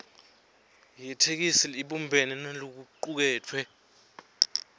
yetheksthi ibumbene nalokucuketfwe